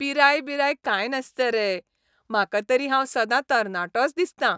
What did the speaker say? पिराय बिराय कांय नासता रे. म्हाका तरी हांव सदां तरणाटोच दिसतां.